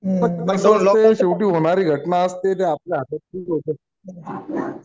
Lock down कसं आहे शेवटी होणारी घटना असते. ते आपल्या हातात कुठं होतं.